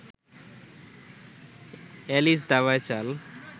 Alice দাবায় চাল